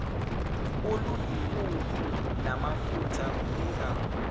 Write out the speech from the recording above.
oluyimpuphu namafutha kunika